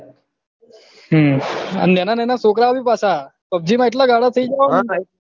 હમ નેનાનેના છોકરાઓ ભી પાછા pubg ને એટલા ગાંડા થઇ ગયા હોય ને